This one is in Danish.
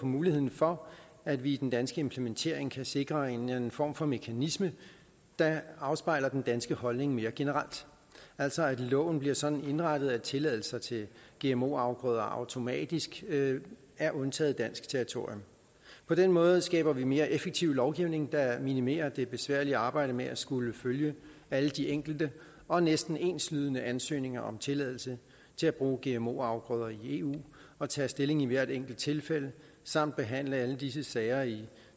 muligheden for at vi i den danske implementering kan sikre en eller anden form for mekanisme der afspejler den danske holdning mere generelt altså at loven bliver sådan indrettet at tilladelser til gmo afgrøder automatisk er undtaget dansk territorium på den måde skaber vi mere effektiv lovgivning der minimerer det besværlige arbejde med at skulle følge alle de enkelte og næsten enslydende ansøgninger om tilladelse til at bruge gmo afgrøder i eu og tage stilling i hvert enkelt tilfælde samt behandle alle disse sager i